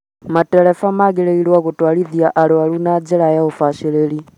Matereba magĩrĩirwo gũtwarithia arũaru na njĩra ya ũbacĩrĩru